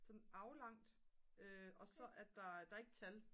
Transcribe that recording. sådan aflangt og så er der der er ikke tal